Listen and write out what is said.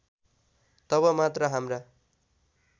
तब मात्र हाम्रा